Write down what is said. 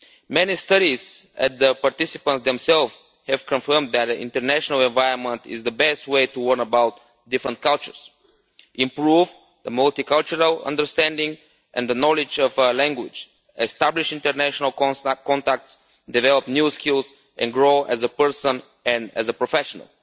Many studies of the participants themselves have confirmed that an international environment is the best way to learn about different cultures, improve a multi cultural understanding and knowledge of language, establish international contacts, develop new skills and grow as a person and as a professional.